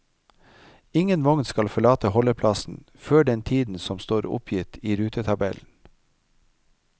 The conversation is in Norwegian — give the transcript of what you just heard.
Ingen vogn skal forlate holdeplassen før den tiden som står oppgitt i rutetabellen.